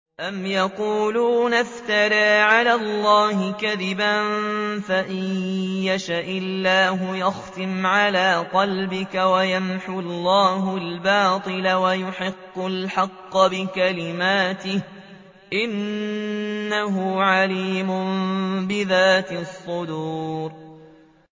أَمْ يَقُولُونَ افْتَرَىٰ عَلَى اللَّهِ كَذِبًا ۖ فَإِن يَشَإِ اللَّهُ يَخْتِمْ عَلَىٰ قَلْبِكَ ۗ وَيَمْحُ اللَّهُ الْبَاطِلَ وَيُحِقُّ الْحَقَّ بِكَلِمَاتِهِ ۚ إِنَّهُ عَلِيمٌ بِذَاتِ الصُّدُورِ